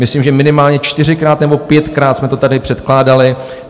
Myslím, že minimálně čtyřikrát nebo pětkrát jsme to tady předkládali.